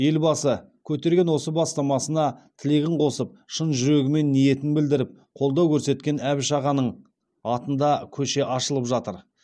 елбасы көтерген осы бастамасына тілегін қосып шын жүрегімен ниетін білдіріп қолдау көрсеткен әбіш ағаның атында көше ашылып жатыр